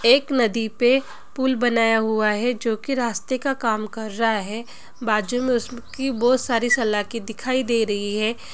एक नदी पे पुल बनाया हुवा है जो की रास्ते का काम कर रहा है| बाजु मे उसकी बोहोत सारी सलाखे दिखाई दे रही है ।